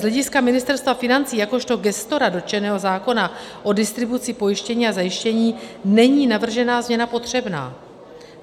Z hlediska Ministerstva financí jakožto gestora dotčeného zákona o distribuci pojištění a zajištění není navržená změna potřebná.